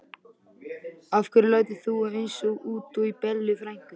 Af hverju lætur þú svona út í Bellu frænku?